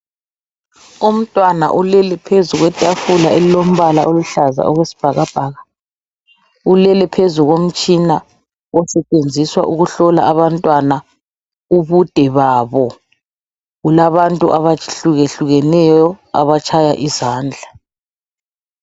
Umntwana ulele phezu kwetafula elombala oluhlaza okwesibhakabhaka. Ulele phezu komtshina osetshenziswa ukuhlola abantwana ubude babo. Kulabantu abakhukehlukeneyo abatshaya izandla.